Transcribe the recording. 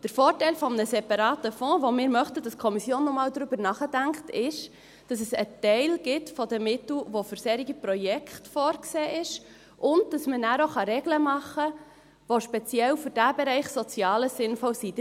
Der Vorteil eines separaten Fonds, von dem wir möchten, dass die Kommission noch einmal darüber nachdenkt, ist, dass es einen Teil der Mittel gibt, der für solche Projekte vorgesehen ist, und dass man nachher auch Regeln machen kann, die speziell für diesen Bereich Soziales sinnvoll sind.